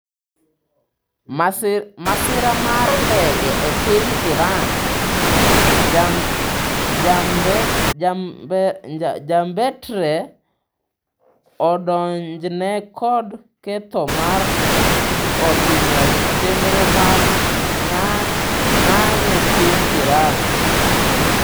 Masira mar ndege e piny Iran: Jambetre odonjne kod ketho mar otimo chenro mag ng'any e piny Iran